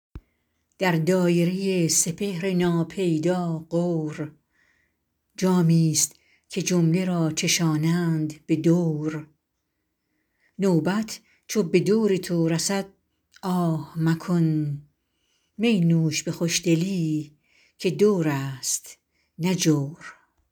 در دایره سپهر ناپیدا غور جامی ست که جمله را چشانند به دور نوبت چو به دور تو رسد آه مکن می نوش به خوشدلی که دور است نه جور